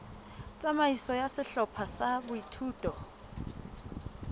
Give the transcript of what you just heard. tsamaiso ya sehlopha sa boithuto